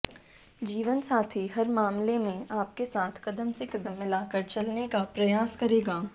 जीवनसाथी हर मामले में आपके साथ कदम से कदम मिलाकर चलने का प्रयास करेगा